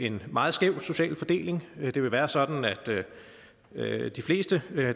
en meget skæv social fordeling det vil være sådan at at de fleste